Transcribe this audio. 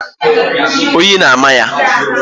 Oyi ọ na-ámà ya?